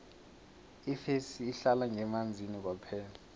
ifesi ihlala ngemanzini kwaphela